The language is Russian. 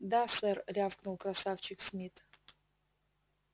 да сэр рявкнул красавчик смит